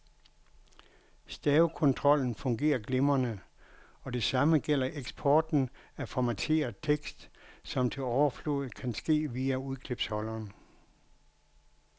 Stavekontrollen fungerer glimrende, og det samme gælder eksporten af formateret tekst, som til overflod kan ske via udklipsholderen.